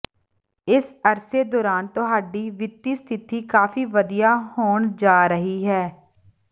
ਇਸ ਅਰਸੇ ਦੌਰਾਨ ਤੁਹਾਡੀ ਵਿੱਤੀ ਸਥਿਤੀ ਕਾਫ਼ੀ ਵਧੀਆ ਹੋਣ ਜਾ ਰਹੀ ਹੈ